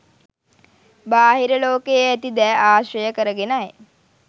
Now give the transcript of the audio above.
බාහිර ලෝකයේ ඇති දෑ ආශ්‍රය කරගෙනයි.